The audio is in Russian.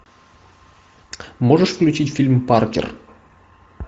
можешь включить фильм паркер